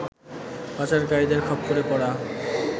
পাচারকারীদের খপ্পরে পড়া